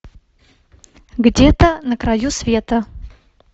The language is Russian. где то на краю света